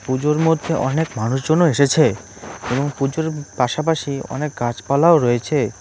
পুজোর মধ্যে অনেক মানুষজনও এসেছে এবং পুজোর পাশাপাশি অনেক গাছপালাও রয়েছে।